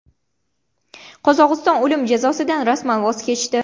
Qozog‘iston o‘lim jazosidan rasman voz kechdi.